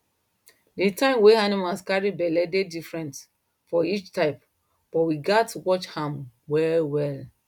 the time wey animal carry belle dey different for each type but we gatz watch am well well